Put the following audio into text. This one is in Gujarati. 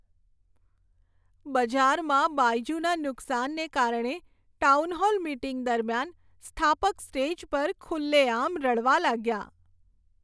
બજારમાં બાયજુના નુકસાનને કારણે ટાઉનહોલ મીટિંગ દરમિયાન સ્થાપક સ્ટેજ પર ખુલ્લેઆમ રડવા લાગ્યા.